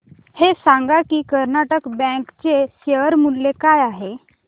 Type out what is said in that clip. हे सांगा की कर्नाटक बँक चे शेअर मूल्य काय आहे